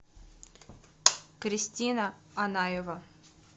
кристина анаева